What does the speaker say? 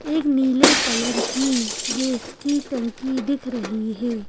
एक नीले कलर की गैस की टंकी दिख रही है।